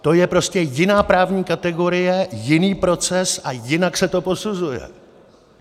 To je prostě jiná právní kategorie, jiný proces a jinak se to posuzuje.